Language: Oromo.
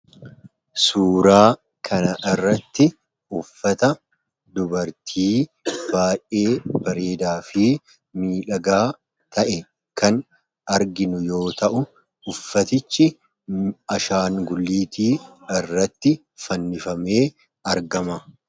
Suuraa kana irratti uffata dubartii baayyee bareedaa fi miidhagaa ta'e kan arginu yoo ta'u uffatichi ashaangulliitii irratti fannifamee argama.